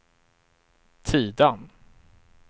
Tidan